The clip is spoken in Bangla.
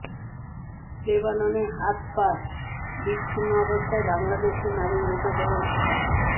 লেবাননে হাত পা বিচ্ছিন্ন অবস্থায় বাংলাদেশি নারীর মৃতদেহ উদ্ধার